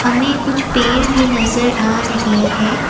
हमें कुछ पर भी नजर आ रही है।